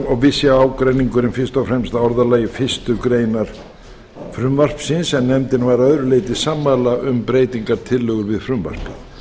og vissi ágreiningurinn fyrst og fremst að orðalagi fyrstu grein frumvarpsins en nefndin var að öðru leyti sammála um breytingartillögu við frumvarpið